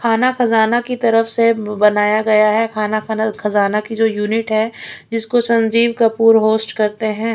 खाना खजाना की तरफ से बनाया गया है खाना खाना खजाना की जो यूनिट है जिसको संजीव कपूर होस्ट करते हैं।